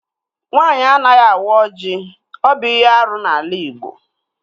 Nwaanyị anaghị awa ọjị. Ọ bụ ihe árú n'ala igbo